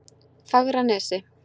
Fagranesi